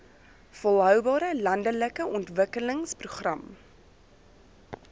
volhoubare landelike ontwikkelingsprogram